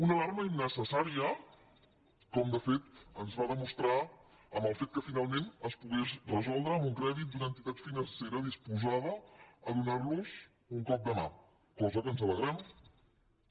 una alarma innecessària com de fet ens va demostrar en el fet que finalment es pogués resoldre amb un crèdit d’una entitat financera disposada a donar los un cop de mà cosa que ens n’alegrem també